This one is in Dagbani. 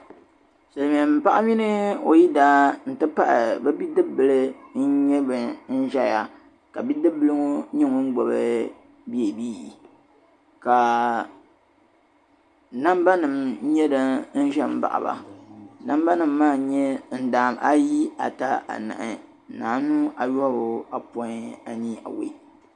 Silimiin'paɣa mini o yidana nti pahi bi'dibbil n nyɛ bIn ʒeya ka bi'dibbila ŋɔ nyɛ ŋun gbubi beebii ka namba nima nye din ze n baɣi ba Nambanima maa n nyɛ ndaam, ayi, ata, sahi, anu, ayobu, ayopɔin anii awɔi.